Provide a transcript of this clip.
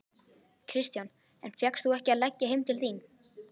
Kristján: En fékkst þú ekki að leggja heim til þín?